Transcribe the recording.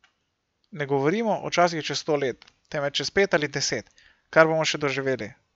Ne govorimo o časih čez sto let, temveč čez pet ali deset, kar bomo še doživeli.